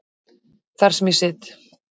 Þar sem ég sit.